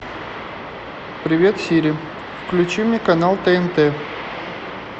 привет сири включи мне канал тнт